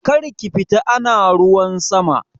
Karki fita ana ruwan sama!